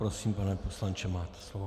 Prosím, pane poslanče, máte slovo.